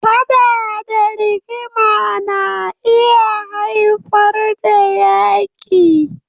Faɗa da rigima na iya haifar da Yaƙi.